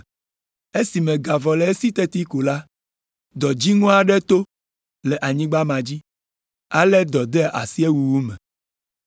Esime ga vɔ le esi teti ko la, dɔ dziŋɔ aɖe to le anyigba ma dzi, ale dɔ de asi ewuwu me.